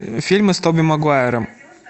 фильмы с тоби магуайром